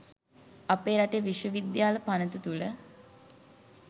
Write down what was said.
අපේ රටේ විශ්ව විද්‍යාල පනත තුළ